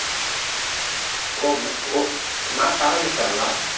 ஓ ma~ ஓ match ஆரம்பிச்சுட்டாங்களா